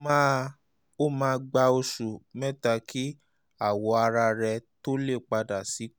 ó máa ó máa gba oṣù mẹ́ta kí awọ ara rẹ tó lè padà bọ̀ sípò